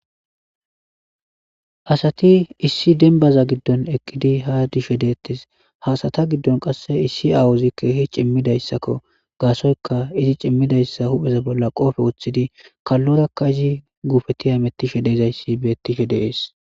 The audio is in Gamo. asati issi denbaza giddon eqqidi ha dishe deettes ha asata giddon qasse issi aawuzi keehi cimmidayssakko gaasoyka izi cimmidayssa hupheza bolla qoofe woththidi kallorakka izi gufeti hamettishe deezayssi beettishe de'ees